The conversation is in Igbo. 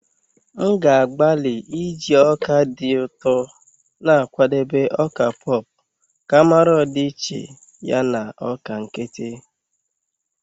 M ga-agbalị iji ọka dị ụtọ na-akwadebe ọka pop ka mara ọdịiche ya na ọka nkịtị.